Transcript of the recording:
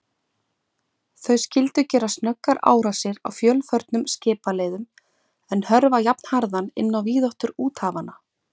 Þau skyldu gera snöggar árásir á fjölförnum skipaleiðum, en hörfa jafnharðan inn á víðáttur úthafanna.